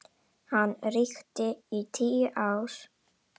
Hann ríkti í tíu ár.